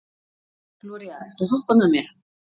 Gloría, viltu hoppa með mér?